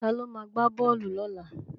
Ta ló ma gbá bọ́ọ̀lù lọ́la?